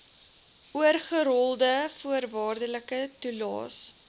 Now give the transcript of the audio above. oorgerolde voorwaardelike toelaes